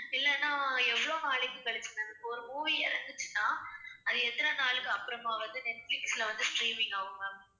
இல்லன்னா எவ்ளோ நாளைக்கு கழிச்சி ma'am இப்போ ஒரு movie இறங்குச்சுன்னா அது எத்தனை நாளுக்கு அப்புறமா வந்து நெட்பிலிஸ்ல வந்து streaming ஆகும் ma'am?